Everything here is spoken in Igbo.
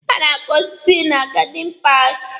A na-akụ osiso na gadin paaki.